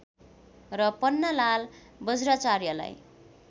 र पन्नालाल वज्राचार्यलाई